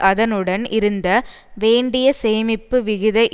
அதனுடன் இருந்த வேண்டிய சேமிப்பு விகித